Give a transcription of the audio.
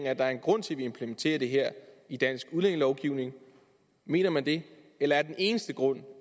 at der er en grund til at vi implementerer det her i dansk udlændingelovgivning mener man det eller er den eneste grund